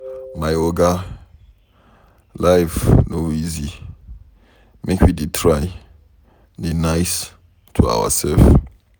My oga, life no easy make we dey try dey nice to ourselves.